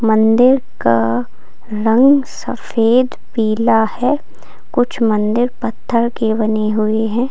मंदिर का रंग सफेद पीला है कुछ मंदिर पत्थर के बनी हुई हैं।